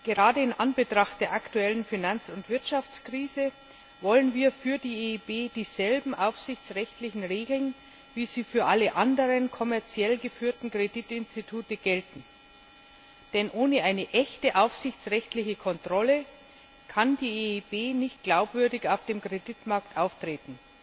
Gerade in Anbetracht der aktuellen Finanz und Wirtschaftskrise wollen wir für die EIB dieselben aufsichtsrechtlichen Regeln, wie sie für alle anderen kommerziell geführten Kreditinstitute gelten. Denn ohne eine echte aufsichtsrechtliche Kontrolle kann die EIB nicht glaubwürdig auf dem Kreditmarkt auftreten.